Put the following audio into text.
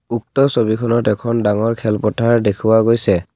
উক্ত ছবিখনত এখন ডাঙৰ খেলপথাৰ দেখুওৱা গৈছে।